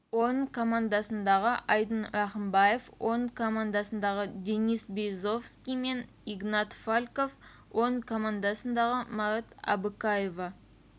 орындары командасындағы айдын рахымбаев орын командасындағы денис березовский мен игнат фальков орын командасындағы марат абыкаева